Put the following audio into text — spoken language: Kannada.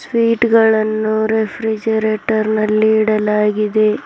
ಸ್ವೀಟ್ ಗಳನ್ನು ರೇಫ್ರಿಜೆರೆಟರ್ ನಲ್ಲಿ ಇಡಲಾಗಿದೆ.